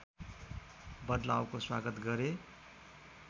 बदलावको स्वागत गरे